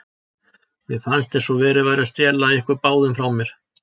Mér fannst eins og verið væri að stela ykkur báðum frá mér.